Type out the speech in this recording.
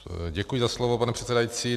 Děkuji za slovo, pane předsedající.